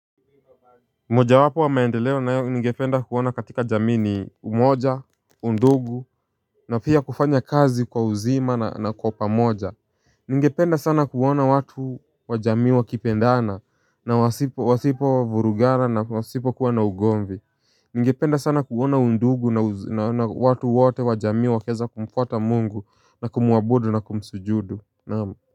Moja wapo wa maendeleo nayo ningependa kuona katika jamii ni umoja, undugu na pia kufanya kazi kwa uzima na kwa pamoja. Ningependa sana kuona watu wa jamii wakipendana na wasipo wasipo vurugana na wasipokua na ugomvi. Ningependa sana kuona undugu na watu wote wa jamii wakiweza kumfuata mungu na kumuabudu na kumsujudu naam.